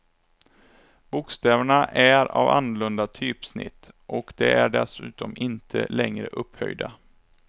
Bokstäverna är av annorlunda typsnitt, och de är dessutom inte längre upphöjda.